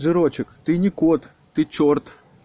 жирочик ты не кот ты черт